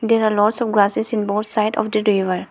there are lots of grasses in both side of the river.